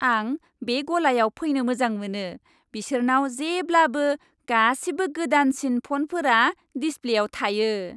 आं बे गलायाव फैनो मोजां मोनो। बिसोरनाव जेब्लाबो गासिबो गोदानसिन फनफोरा डिसप्लेयाव थायो।